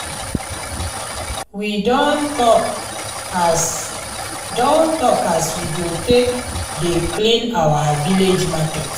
we don tok as don tok as we go take dey clean our village market.